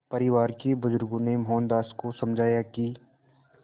परिवार के बुज़ुर्गों ने मोहनदास को समझाया कि